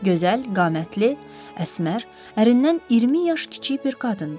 Gözəl, qamətli, əsmər, ərindən 20 yaş kiçik bir qadın idi.